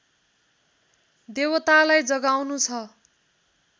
देवतालाई जगाउनु छ